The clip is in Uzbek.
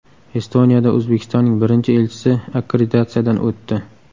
Estoniyada O‘zbekistonning birinchi elchisi akkreditatsiyadan o‘tdi.